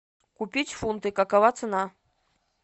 купить фунты какова цена